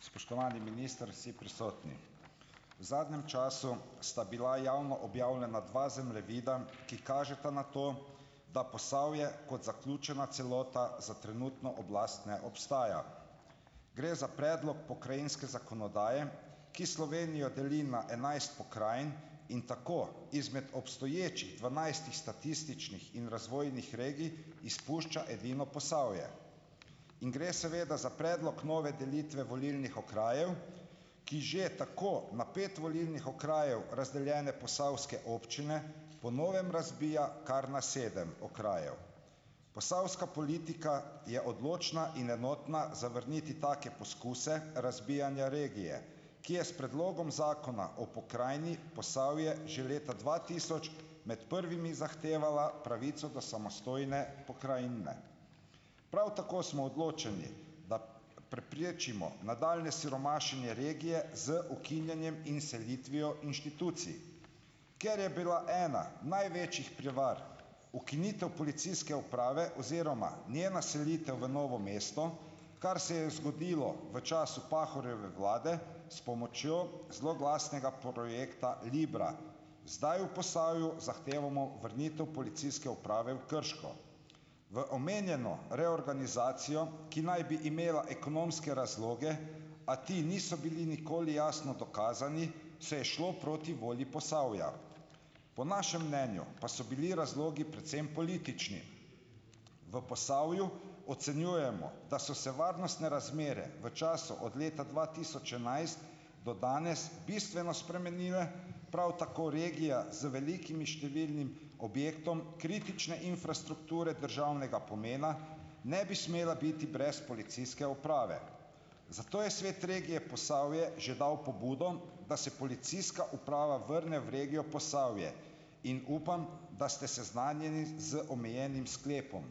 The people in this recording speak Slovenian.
Spoštovani minister, vsi prisotni! V zadnjem času sta bila javno objavljena dva zemljevida, ki kažeta na to, da Posavje kot zaključena celota za trenutno oblast ne obstaja. Gre za predlog pokrajinske zakonodaje, ki Slovenijo deli na enajst pokrajin, in tako izmed obstoječih dvanajstih statističnih in razvojnih regij izpušča edino Posavje. In gre seveda za predlog nove delitve volilnih okrajev, ki že tako na pet volilnih okrajev razdeljene posavske občine po novem razbija kar na sedem okrajev. Posavska politika je odločna in enotna zavrniti take poskuse razbijanja regije, ki je s predlogom zakona o pokrajini Posavje že leta dva tisoč med prvimi zahtevala pravico do samostojne pokrajine. Prav tako smo odločeni, da preprečimo nadaljnje siromašenje regije z ukinjanjem in selitvijo inštitucij. Ker je bila ena največjih prevar ukinitev policijske uprave oziroma njena selitev v Novo mesto, kar se je zgodilo v času Pahorjeve vlade s pomočjo zloglasnega projekta Libra, zdaj v Posavju zahtevamo vrnitev policijske uprave v Krško. V omenjeno reorganizacijo, ki naj bi imela ekonomske razloge, a ti niso bili nikoli jasno dokazani, se je šlo proti volji Posavja. Po našem mnenju pa so bili razlogi predvsem politični. V Posavju ocenjujemo, da so se varnostne razmere v času od leta dva tisoč enajst do danes bistveno spremenile, prav tako regija z velikim in številnim objektom, kritične infrastrukture državnega pomena ne bi smela biti brez policijske uprave. Zato je svet regije Posavje že dal pobudo, da se policijska uprava vrne v regijo Posavje in upam, da ste seznanjeni z omejenim sklepom.